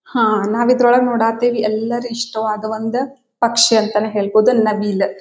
ಹಾ ನಾವು ಇದರೊಳಗೆ ನೋಡಕ್ಕೆ ಹತ್ತೀವಿ ಎಲ್ಲಾರು ಇಷ್ಟವಾದ ಒಂದ ಪಕ್ಷಿ ಅಂತಾನೆ ಹೇಳ್ಬೋದು ನವಿಲು.